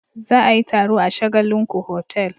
Za a yi taro a shagallinku hotel.